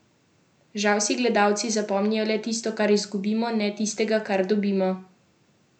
Žal si gledalci zapomnijo le tisto, kar izgubimo, ne tistega, kar dobimo.